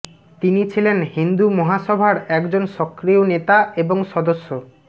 তিনি ছিলেন হিন্দু মহাসভার একজন সক্রিয় নেতা এবং সদস্য